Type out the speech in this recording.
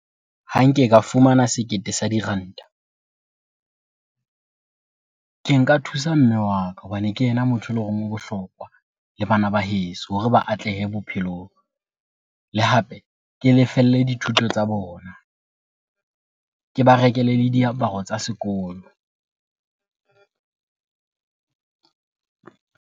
Ha nke ka fumana sekete sa diranta, ke nka thusa mme wa ka hobane ke yena motho eleng hore o bohlokwa le bana ba heso hore ba atlehe bophelong. Le hape ke lefelle dithuto tsa bona, ke ba rekele le diaparo tsa sekolo.